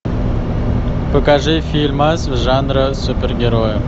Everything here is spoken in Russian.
покажи фильмас жанра супергероя